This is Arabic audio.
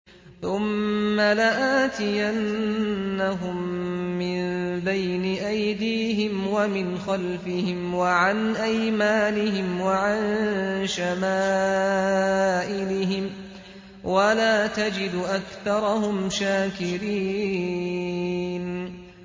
ثُمَّ لَآتِيَنَّهُم مِّن بَيْنِ أَيْدِيهِمْ وَمِنْ خَلْفِهِمْ وَعَنْ أَيْمَانِهِمْ وَعَن شَمَائِلِهِمْ ۖ وَلَا تَجِدُ أَكْثَرَهُمْ شَاكِرِينَ